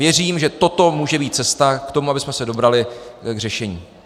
Věřím, že toto může být cesta k tomu, abychom se dobrali k řešení.